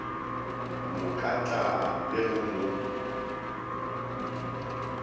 mo kata le go mo